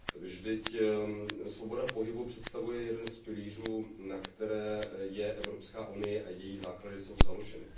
Vždyť svoboda pohybu představuje jeden z pilířů, na kterých jsou Evropská unie a její základy založeny.